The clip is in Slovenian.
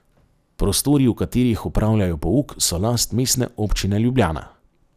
Prostori, v katerih opravljajo pouk, so last Mestne občine Ljubljana.